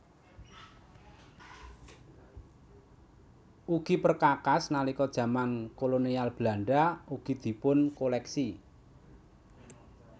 Ugi perkakas nalika jaman Kolonial Belanda ugi dipunkoléksi